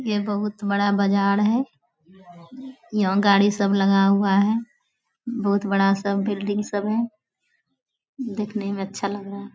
यह बहुत बड़ा बाजार है। यहाँ गाड़ी सब लगा हुआ है। बहुत बड़ा सब बिल्डिंग सब है। देखने में अच्छा लग रहा--